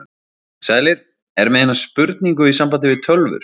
Sælir, er með eina spurningu í sambandi við tölvur.